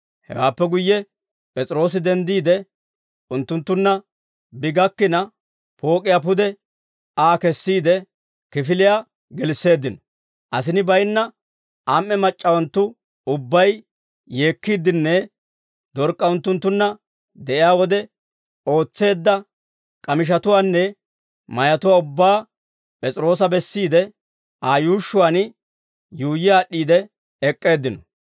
Hewaappe guyye P'es'iroosi denddiide, unttunttunna bi gakkina, pook'iyaa pude Aa kessiide, kifiliyaa gelisseeddino. Asini baynna am"e mac'c'awanttu ubbay yeekkiiddenne Dork'k'a unttunttunna de'iyaa wode ootseedda k'amishatuwaanne mayatuwaa ubbaa P'es'iroosa bessiidde, Aa yuushshuwaan yuuyyi aad'd'iide ek'k'eeddino.